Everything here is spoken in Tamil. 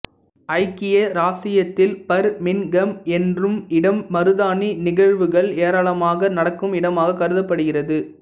ஐக்கிய இராச்சியத்தில் பர்மின்ங்ஹம் எனும் இடம் மருதாணி நிகழ்வூகள் ஏராளமாக நடக்கும் இடமாக கருதப்படுகிறது